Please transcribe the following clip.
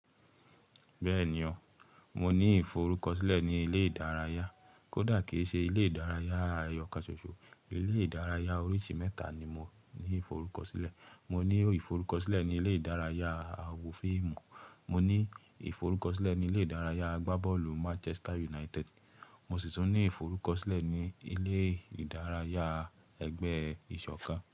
Bẹ́ẹ̀ni o, mo ní ìforúkọ̀sílẹ̀ ní ilé ìdárayá, kódà kí í ṣe ilé ìdárayá ayọ̀-kasọṣọ. Ilé ìdárayá oríṣi mẹ́ta ni mo ní ìforúkọ̀sílẹ̀. Mo ní ìforúkọ̀sílẹ̀ ní ilé ìdárayá àwo fíìmù, mo ní ìforúkọ̀sílẹ̀ ní ilé ìdárayá agbábọ́ọ̀lù Manchester United, mo sì tún ní ìforúkọ̀sílẹ̀ ní ilé ìdárayá ẹgbẹ́ ìṣọ̀kan.